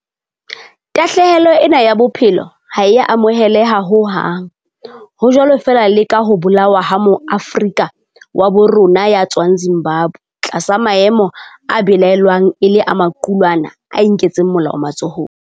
Tahlehelo ena ya bophelo ha e a amoheleha ho hang, ho jwalo feela le ka ho bolawa ha Moafrika wa habo rona ya tswang Zimbabwe tlasa maemo a belaellwang e le a maqulwana a inketseng molao matsohong.